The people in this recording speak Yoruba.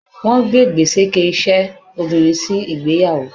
Wọ́n gbé gbèséke iṣẹ́ obìnrin sí ìgbéyàwó.